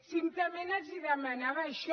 simplement els demanava això